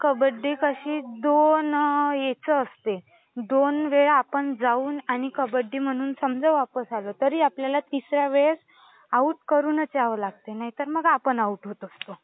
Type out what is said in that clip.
कबड्डी कशी दोन ह्याची असते. दोन वेळा आपण जाऊन आणि कबड्डी म्हणून समजा वापस आलो तरी आपल्याला तिसऱ्या वेळेस आउट करून यावं लागते. नाहीतर मग आपण आउट होत असतो.